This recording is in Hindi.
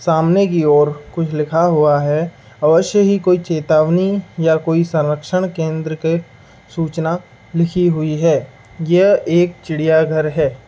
सामने की ओर कुछ लिखा हुआ है अवश्य ही कोई चेतावनी या कोई संरक्षण केंद्र के सुचना लिखी हुई है। यह एक चिड़िया घर है।